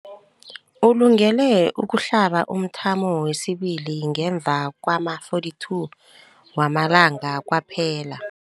Ulungele ukuhlaba umthamo wesibili ngemva kwama-42 wamalanga kwaphela.